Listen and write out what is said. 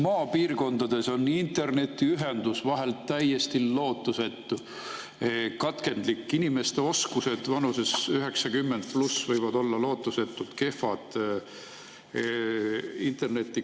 Maapiirkondades on internetiühendus vahel täiesti lootusetu, katkendlik, inimeste interneti kasutamise oskused vanuses 90+ võivad olla lootusetult kehvad.